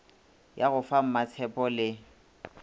ya go fa mmatshepho le